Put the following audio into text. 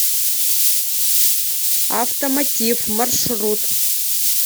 автомотив маршрут